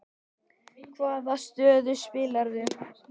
Hvaða stöðu spilaðirðu?